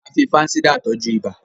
a fí fansidar tọjú ibà